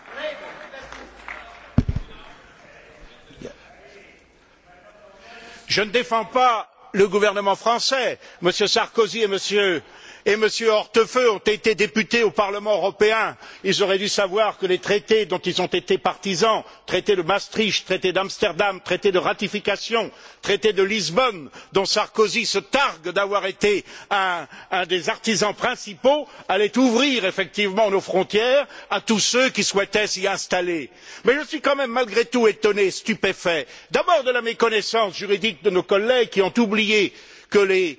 Monsieur le Président, je ne défends pas le gouvernement français. M. Sarkozy et M. Hortefeux ont été députés au Parlement européen. Ils auraient dû savoir que les traités dont ils ont été partisans traité de Maastricht, traité d'Amsterdam, traité de ratification, traité de Lisbonne, dont Sarkozy se targue d'avoir été un des artisans principaux allaient ouvrir effectivement nos frontières à tous ceux qui souhaitaient s'y installer. Mais je suis quand même malgré tout étonné et stupéfait, d'abord de la méconnaissance juridique de nos collègues qui ont oublié que